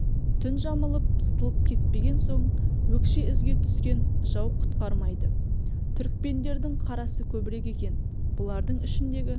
түн жамылып сытылып кетпеген соң өкше ізге түскен жау құтқармайды түрікпендердің қарасы көбірек екен бұлардың ішіндегі